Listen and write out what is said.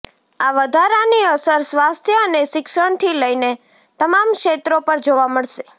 આ વધારાની અસર સ્વાસ્થ્ય અને શિક્ષણથી લઇને તમામ ક્ષેત્રો પર જોવા મળશે